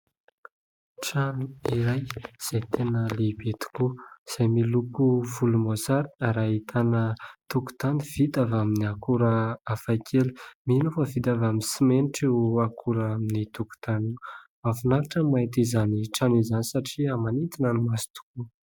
Trano iray izay tena lehibe tokoa ; izay miloko volomboasary ary ahitana tokontany vita avy amin'ny akora hafa kely mino aho fa vita avy amin'ny simenitra io akora amin'ny tokotany ; mahafinaritra ny mahita izany trano izany satria manintona ny maso tokoa.